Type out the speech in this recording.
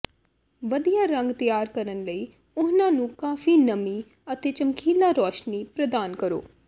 ਵਧੀਆ ਰੰਗ ਤਿਆਰ ਕਰਨ ਲਈ ਉਹਨਾਂ ਨੂੰ ਕਾਫੀ ਨਮੀ ਅਤੇ ਚਮਕੀਲਾ ਰੋਸ਼ਨੀ ਪ੍ਰਦਾਨ ਕਰੋ